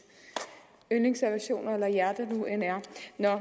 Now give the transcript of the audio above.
yndlingsaversioner eller hjerte nu end er